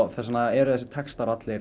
þess vegna eru þessir textar allir